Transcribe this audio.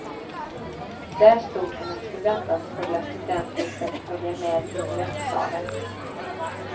Där stod hennes förväntansfulla studenter för att följa med in i rättssalen.